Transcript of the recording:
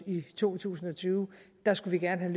i to tusind og tyve der skulle vi gerne have